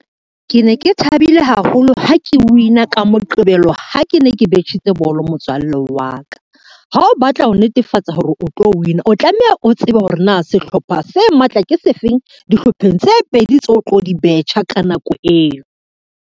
Ke ne ke thabile haholo ha ke win-a ka Moqebelo ha ke ne ke betjhitse bolo notswalle wa ka. Ha o batla ho netefatsa hore o tlo win-a, o tlameha o tsebe hore na sehlopha se matla ke sefeng dihlopheng tse pedi tseo tlo di betjha ka nako eo.